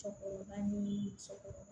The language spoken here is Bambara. Sɔgɔlan ɲimi sɔgɔma